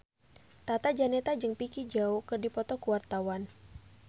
Tata Janeta jeung Vicki Zao keur dipoto ku wartawan